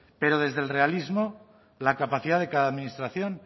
pero desde el realismo la capacidad de cada administración